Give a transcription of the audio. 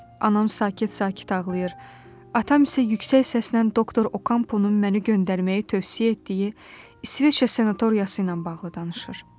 Anam sakit-sakit ağlayır, atam isə yüksək səslə doktor Okamponun məni göndərməyi tövsiyə etdiyi İsveçrə sanatoriyası ilə bağlı danışır.